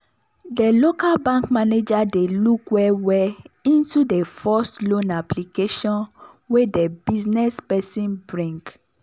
de local bank manager dey look well well into de first loan application wey de business person bring.